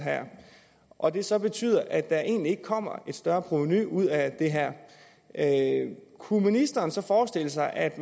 og det så betyder at der egentlig ikke kommer et større provenu ud af det her kunne ministeren så forestille sig at